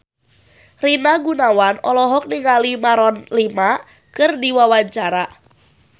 Rina Gunawan olohok ningali Maroon 5 keur diwawancara